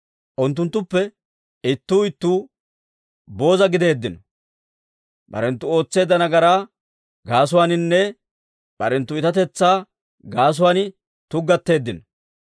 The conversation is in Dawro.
Unttunttuppe ittuu ittuu booza gideeddino; Barenttu ootseedda nagaraa gaasuwaaninne, barenttu iitatetsaa gaasuwaan tuggateeddino.